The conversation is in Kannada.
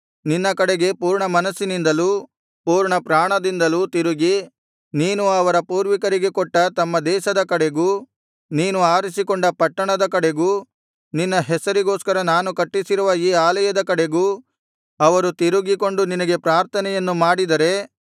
ನಿನ್ನ ಕಡೆಗೆ ಪೂರ್ಣಮನಸ್ಸಿನಿಂದಲೂ ಪೂರ್ಣಪ್ರಾಣದಿಂದಲೂ ತಿರುಗಿ ನೀನು ಅವರ ಪೂರ್ವಿಕರಿಗೆ ಕೊಟ್ಟ ತಮ್ಮ ದೇಶದ ಕಡೆಗೂ ನೀನು ಆರಿಸಿಕೊಂಡ ಪಟ್ಟಣದ ಕಡೆಗೂ ನಿನ್ನ ಹೆಸರಿಗೋಸ್ಕರ ನಾನು ಕಟ್ಟಿಸಿರುವ ಈ ಆಲಯದ ಕಡೆಗೂ ಅವರು ತಿರುಗಿಕೊಂಡು ನಿನಗೆ ಪ್ರಾರ್ಥನೆಯನ್ನು ಮಾಡಿದರೆ